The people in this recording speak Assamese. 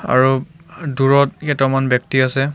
আৰু দূৰত কেটামান ব্যক্তি আছে.